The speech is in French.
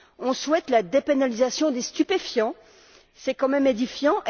On souhaite la dépénalisation des stupéfiants, ce qui est quand même édifiant.